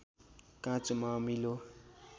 काँचोमा अमिलो